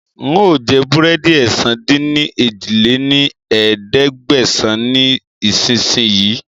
Ń ó jẹ búrẹ́dì ẹ̀sán-dín-ní-ojì lé ní ẹ̀ẹ́dẹ́gbẹ́sán ni ìsìn sìn yìí